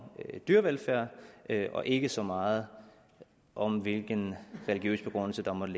dyrevelfærd og ikke så meget om hvilken religiøs begrundelse der måtte